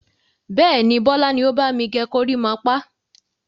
Bẹ́ẹ̀ni, Bọlá ni ó bami gẹ gorímápá.